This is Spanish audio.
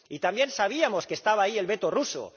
Y también sabíamos que estaba ahí el veto ruso.